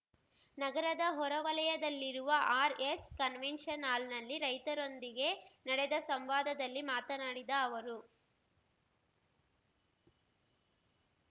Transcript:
ನಗರದ ಹೊರವಲಯದಲ್ಲಿರುವ RS convention ಹಾಲ್‌ನಲ್ಲಿ ರೈತರೊಂದಿಗೆ ನಡೆದ ಸಂವಾದದಲ್ಲಿ ಮಾತನಾಡಿದ ಅವರು